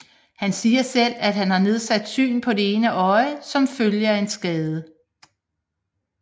Han siger selv at han har nedsat syn på det ene øje som følge af skaden